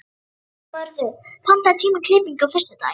Náttmörður, pantaðu tíma í klippingu á föstudaginn.